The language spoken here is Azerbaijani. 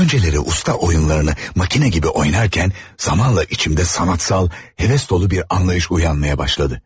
Önceləri usta oyunlarını makina gibi oynarkən zamanla içimdə sanatsal, heves dolu bir anlayış uyanmaya başladı.